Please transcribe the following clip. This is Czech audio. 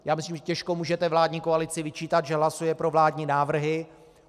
Já myslím, že těžko můžete vládní koalici vyčítat, že hlasuje pro vládní návrhy.